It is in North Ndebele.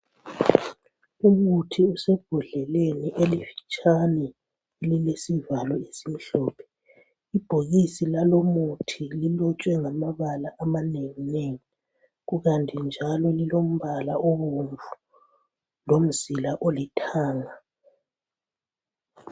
Umuthi osembodleleni elifitshane elilesivalo esimhlophe. Ibhokisi lalo muthi lilotshwe ngamabala amanenginengi kukanti njalo lilombala obomvu, lomzila olithanga.